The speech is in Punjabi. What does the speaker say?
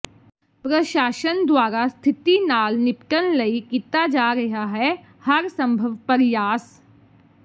ਪ੍ਰਸ਼ਾਸ਼ਨ ਦੁਆਰਾ ਸਥਿਤੀ ਨਾਲ ਨਿਪਟਣ ਲਈ ਕੀਤਾ ਜਾ ਰਿਹਾ ਹੈ ਹਰ ਸੰਭਵ ਪਰਿਆਸ